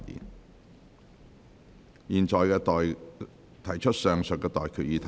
我現在向各位提出上述待決議題。